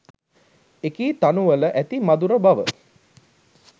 එකී තනුවල ඇති මධුර බව